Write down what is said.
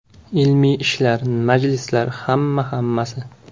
Ilmiy ishlar, majlislar, hamma-hammasi.